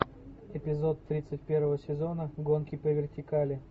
эпизод тридцать первого сезона гонки по вертикали